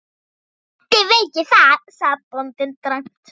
Ekki veit ég það, sagði bóndinn dræmt.